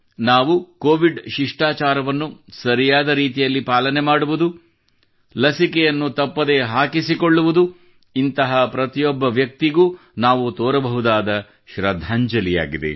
ನಾವು ಕೋವಿಡ್ ಶಿಷ್ಟಾಚಾರವನ್ನು ಸರಿಯಾದ ರೀತಿಯಲ್ಲಿ ಪಾಲನೆ ಮಾಡುವುದು ಲಸಿಕೆಯನ್ನು ತಪ್ಪದೇ ಹಾಕಿಸಿಕೊಳ್ಳುವುದು ಇಂತಹ ಪ್ರತಿಯೊಬ್ಬ ವ್ಯಕ್ತಿಗೂ ನಾವು ತೋರಬಹುದಾದ ಶ್ರದ್ಧಾಂಜಲಿಯಾಗಿದೆ